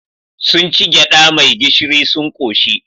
Sun ci gyaɗa mai gishiri sun ƙoshi.